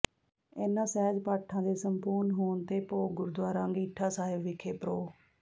ਇਨ੍ਹਾਂ ਸਹਿਜ ਪਾਠਾਂ ਦੇ ਸੰਪੂਰਨ ਹੋਣ ਤੇ ਭੋਗ ਗੁਰਦੁਆਰਾ ਅੰਗੀਠਾ ਸਾਹਿਬ ਵਿਖੇ ਪ੍ਰਰੋ